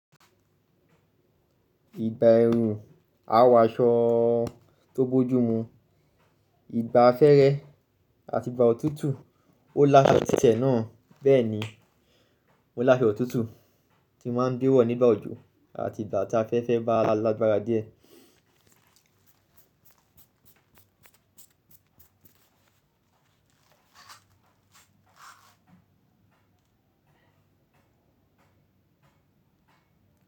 Ìgbà ẹrún, a wọ aṣọ tó bójú mu. Ìgbà afẹ́rẹ àti ìgbà òtútù ó láṣo tí tí ẹ̀ náà. Bẹ́ẹ̀ ni mó láṣo òtútù tí máa ń bẹ́wọ̀ nígbà òjò àti ìgbà tí afẹ́fẹ́ bá lágbára díẹ̀.